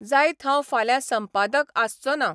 जायत हांव फाल्यां संपादक आसचों ना.